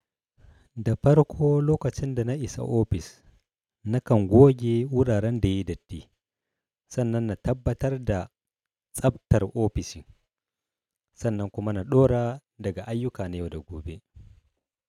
Da farko lokacin da na isa ofis, na kan goge wuraren da yai datti. Sannan na tabbatar da tsabtar ofishin. Sannan kuma na ɗora daga ayyuka na yau da gobe.